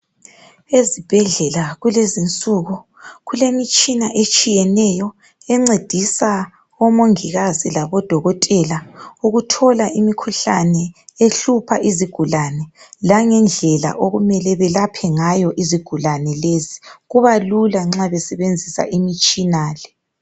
Ezibhendlela kulezinsuku kulemitshina etshiyeneyo encedisa omongikazi labodokotela ukuthola imikhuhlane ehlupha izigulane langendlela okumele belaphe ngayo izigulane lezi kubalula nxa besebenzisa imtshina le.